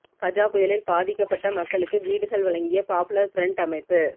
கஜா புயலில் பாதிக்கப்பட்ட மக்களுக்கு வீடுகள் வழங்கிய பாப்புலர் ஃபிரண்ட் அமைப்பு